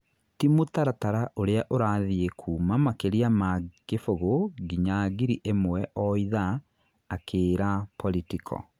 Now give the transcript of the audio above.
Ti mũtaratara ũrĩa ũrathiĩ kuuma makĩria ma kibũgũ nginya ngiri imwe o ithaaa akĩĩra Politico.